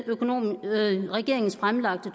regeringens fremlagte